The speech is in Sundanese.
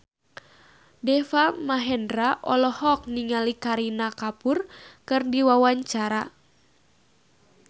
Deva Mahendra olohok ningali Kareena Kapoor keur diwawancara